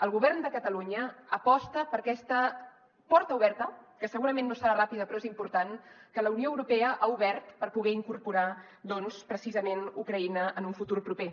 el govern de catalunya aposta per aquesta porta oberta que segurament no serà ràpida però és important que la unió europea ha obert per poder incorporar doncs precisament ucraïna en un futur proper